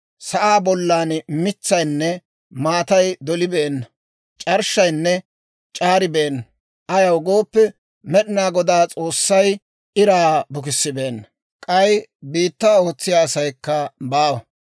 sa'aa bollan mitsaynne maatay dolibeenna; c'arshshaynne c'aaribeenna; ayaw gooppe, Med'ina Goday S'oossay iraa bukkissibeenna; k'ay biittaa ootsiyaa asaykka baawa.